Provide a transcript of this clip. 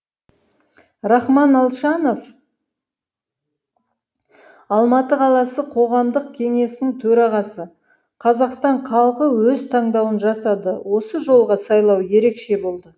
рахман алшанов алматы қаласы қоғамдық кеңесінің төрағасы қазақстан халқы өз таңдауын жасадыосы жолғы сайлау ерекше болды